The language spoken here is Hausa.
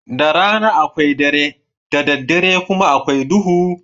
Da rana akwai dare, da daddare kuma akwai duhu.